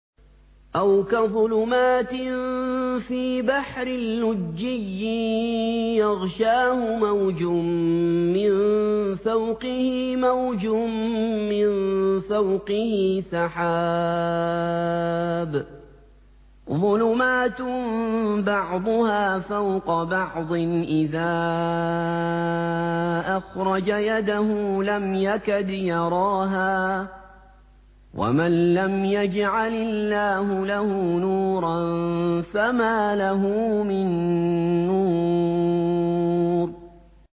أَوْ كَظُلُمَاتٍ فِي بَحْرٍ لُّجِّيٍّ يَغْشَاهُ مَوْجٌ مِّن فَوْقِهِ مَوْجٌ مِّن فَوْقِهِ سَحَابٌ ۚ ظُلُمَاتٌ بَعْضُهَا فَوْقَ بَعْضٍ إِذَا أَخْرَجَ يَدَهُ لَمْ يَكَدْ يَرَاهَا ۗ وَمَن لَّمْ يَجْعَلِ اللَّهُ لَهُ نُورًا فَمَا لَهُ مِن نُّورٍ